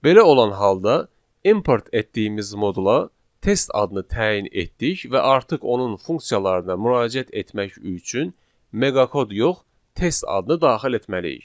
Belə olan halda import etdiyimiz modula test adını təyin etdik və artıq onun funksiyalarına müraciət etmək üçün meqa kod yox, test adını daxil etməliyik.